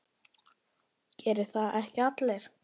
Gera það ekki allir?